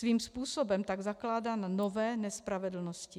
Svým způsobem tak zakládá na nové nespravedlnosti.